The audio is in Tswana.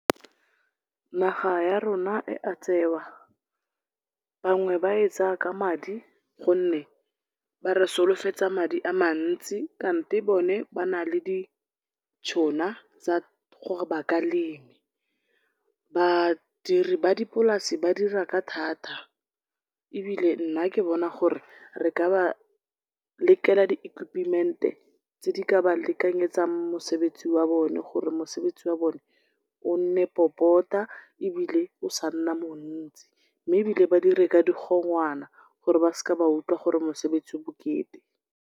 Naga ya rona e a tsewa, bangwe ba e tsaya ka madi gonne ba re solofetsa madi a mantsi kante bone bana le ditšhona tsa gore ba a lema. Badiri ba dipolase ba dira ka thata, ebile nna ke bona gore re ka ba lekela di equipment-e tse di ka ba lekanyetsang mosebetsi wa bone, gore mosebetsi wa bone o nne popota ebile o sa nna montsi, mme ebile ba dire ka di gongwana gore ba ska utlwa gore mosebetsi o bokete.